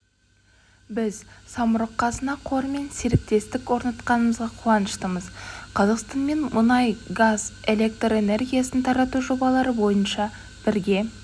біз самұрық қазына қорымен серіктестік орнатқанымызға қуаныштымыз қазақстанмен мұнай газ электр энергиясын тарату жобалары бойынша бірге